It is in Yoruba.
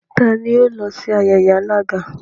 T'ani ó lọ sí ayẹyẹ alága?